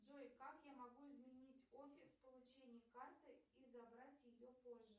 джой как я могу изменить офис получения карты и забрать ее позже